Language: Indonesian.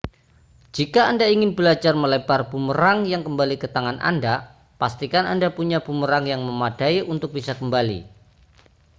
jika anda ingin belajar melempar bumerang yang kembali ke tangan anda pastikan anda punya bumerang yang memadai untuk bisa kembali